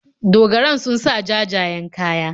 Dogaran sun sa jajayen kayi.